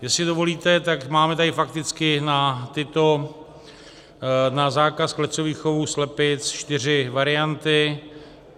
Jestli dovolíte, tak tady máme fakticky na zákaz klecových chovů slepic čtyři varianty.